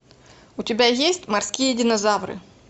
у тебя есть морские динозавры